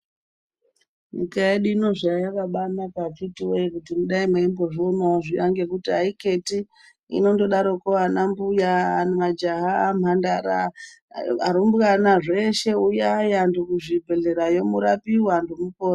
Nyika yedu ino zvayakabanaka vakhiti woye kudai mweimbazvionawo ngekuti aikheti inongodarokwo anambuya, majaha, mhandara, arumbwana zveshe uyayi anhu kuzvibhedhleryo uyayi murapiwe anhu woye mupore